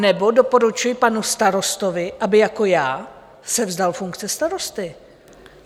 Anebo doporučuji panu starostovi, aby jako já se vzdal funkce starosty.